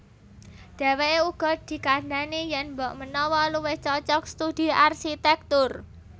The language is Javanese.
Dhèwèké uga dikandhani yèn mbokmenawa luwih cocog studi arsitèktur